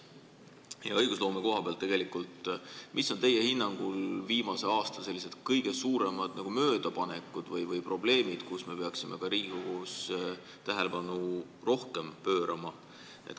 Kui vaadata õigusloome koha pealt, siis mis on teie hinnangul viimase aasta kõige suuremad nagu möödapanekud või probleemid, millele me peaksime Riigikogus rohkem tähelepanu pöörama?